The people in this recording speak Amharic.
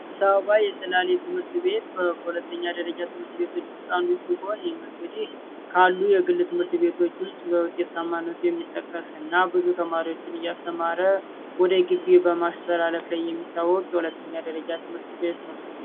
ሰማይ ሰላሌ ትምህርት ቤት የሁለተኛ ደረጃ ትምህርት ቤቶች ውስጥ አንዱ ሲሆን እንግዲህ ካሉ የሁለተኛ ደረጃ የግል ትምህርት ቤቶች ውስጥ ተማሪዎችን እያስተማረ ወደ ጊቢ በማስተላለፍ ላይ የሚታወቅ የሁለተኛ ደረጃ ትምህርት ቤት ነው።